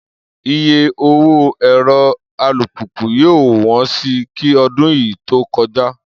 Iye owó ẹ̀rọ alùpùpù yóò wọ́n si kí ọdún yìí tó kọjá